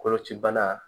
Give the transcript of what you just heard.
Koloci bana